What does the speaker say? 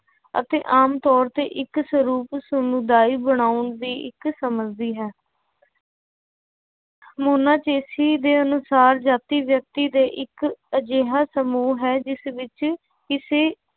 ਅਤੇ ਆਮ ਤੌਰ ਤੇ ਇੱਕ ਸਰੂਪ ਸਮੁਦਾਇ ਬਣਾਉਣ ਸਮਝਦੀ ਹੈ ਮੋਨਾਚੇਸੀ ਦੇ ਅਨੁਸਾਰ ਜਾਤੀ ਵਿਅਕਤੀ ਦਾ ਇੱਕ ਅਜਿਹਾ ਸਮੂਹ ਹੈ ਜਿਸ ਵਿੱਚ ਕਿਸੇ